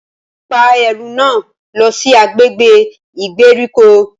Pa ẹru náà lọ si agbègbè ìgbèríko!